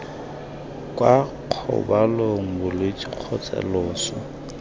kwa kgobalong bolwetse kgotsa loso